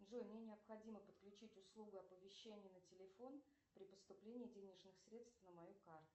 джой мне необходимо подключить услугу оповещения на телефон при поступлении денежных средств на мою карту